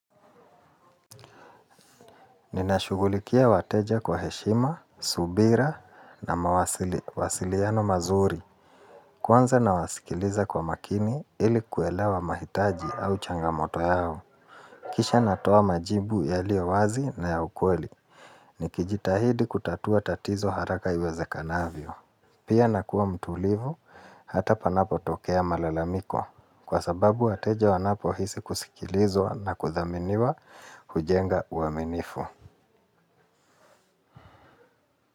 Ninashughulikia wateja kwa heshima, subira na mawasiliano mazuri. Kwanza nawasikiliza kwa makini ili kuelewa mahitaji au changamoto yao. Kisha natoa majibu yaliyo wazi na ya ukweli. Nikijitahidi kutatua tatizo haraka iwezekanavyo. Pia nakuwa mtulivu hata panapotokea malalamiko. Kwa sababu wateja wanapohisi kusikilizwa na kuthaminiwa hujenga uaminifu.